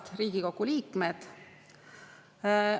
Head Riigikogu liikmed!